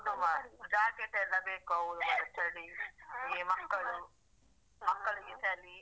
ಹೌದು ಮಾರೇ jacket ಎಲ್ಲ ಬೇಕು ಹೌದು ಮಾರೇ ಚಳಿಗೆ ಇಲ್ಲಿ ಮಕ್ಕಳು ಹಾ ಮಕ್ಕಳಿಗೆ ಚಳಿ.